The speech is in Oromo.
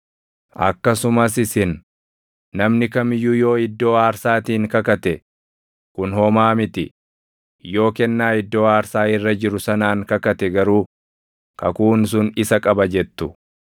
Akkasumas isin, ‘Namni kam iyyuu yoo iddoo aarsaatiin kakate, kun homaa miti; yoo kennaa iddoo aarsaa irra jiru sanaan kakate garuu kakuun sun isa qaba’ jettu.